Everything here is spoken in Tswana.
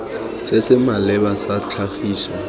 se se maleba sa tlhagiso